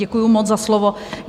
Děkuju moc za slovo.